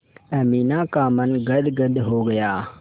अमीना का मन गदगद हो गया